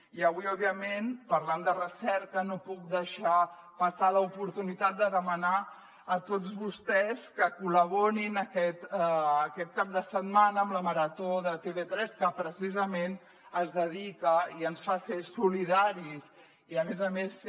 i avui òbviament parlant de recerca no puc deixar passar l’oportunitat de demanar a tots vostès que col·laborin aquest cap de setmana amb la marató de tv3 que precisament es dedica i ens fa ser solidaris i a més a més ser